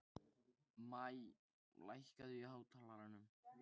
Maj, lækkaðu í hátalaranum.